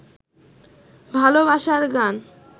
ভালবাসার গান